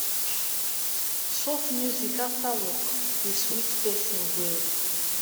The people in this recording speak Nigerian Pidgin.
soft music after work dey sweet person well.